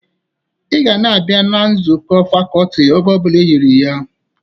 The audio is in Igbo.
Ị ga na-abịa nzụkọ fakọltị oge ọ bụla eyiri ya!